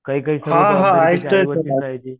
काही काही